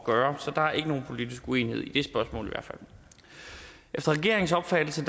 gøre så der er ikke nogen politisk uenighed i det spørgsmål i hvert fald efter regeringens opfattelse